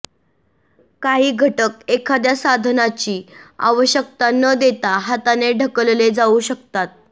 काही घटक एखाद्या साधनाची आवश्यकता न देता हाताने ढकलले जाऊ शकतात